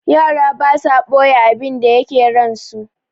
Yara basa ɓoye abinda yake ransu.